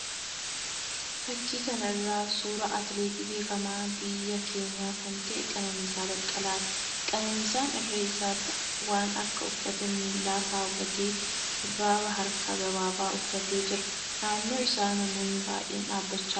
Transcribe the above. Fakkii kana irraa suuraa atileet beekamaa biyya keenyaa kan ta'e Qananiisaa Baqqalaati. Qananiisaan irree isaatti waan akka uffata miillaa kaawwatee shurraaba harka gabaabaa uffatee jira. Naannoo isaa namoonni baay'een dhaabbachaa jiru.